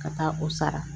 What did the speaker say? Ka taa o sara